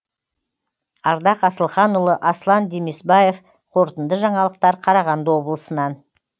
ардақ асылханұлы аслан демесбаев қорытынды жаңалықтар қарағанды облысынан